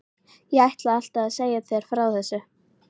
Ég ætlaði alltaf að segja þér frá þessu.